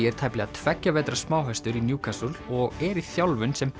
er tæplega tveggja vetra smáhestur í og er í þjálfun sem